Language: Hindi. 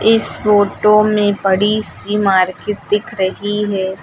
इस फोटो में बड़ी सी मार्केट दिख रही है।